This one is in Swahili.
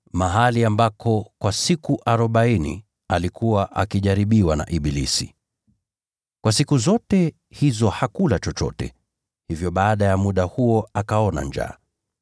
mahali ambako kwa siku arobaini alikuwa akijaribiwa na ibilisi. Kwa siku zote hizo hakula chochote, hivyo baada ya muda huo akaona njaa.